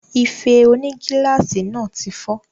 Ife onígíláàsì náà tí fọ́